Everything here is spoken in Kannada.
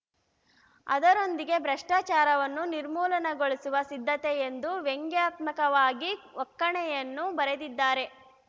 ಅದರೊಂದಿಗೆ ಭ್ರಷ್ಟಾಚಾರವನ್ನು ನಿರ್ಮೂಲನಗೊಳಿಸಲು ಸಿದ್ಧತೆ ಎಂದು ವ್ಯಂಗ್ಯಾತ್ಮಕವಾಗಿ ಒಕ್ಕಣೆಯನ್ನೂ ಬರೆದಿದ್ದಾರೆ